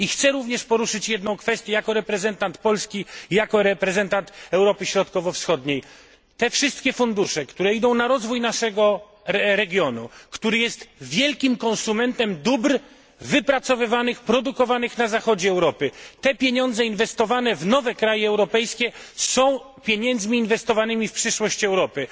Chciałbym poruszyć jeszcze jedną kwestię jako reprezentant Polski, jako reprezentant Europy Środkowo Wschodniej wszystkie fundusze, które idą na rozwój naszego regionu, który jest wielkim konsumentem dóbr wypracowywanych, produkowanych na Zachodzie Europy, pieniądze inwestowane w nowe kraje europejskie są pieniędzmi inwestowanymi w przyszłość Europy.